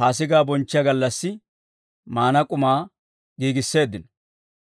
Paasigaa bonchchiyaa gallassi maana k'umaa giigisseeddino.